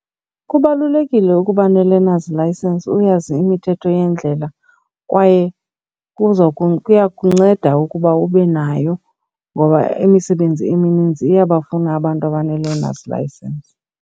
Kubalulekile ukuba ne-learner's license uyazi imithetho yeendlela kwaye kuza kuya kunceda ukuba ube nayo ngoba imisebenzi emininzi iyabafuna abantu abane-learners license.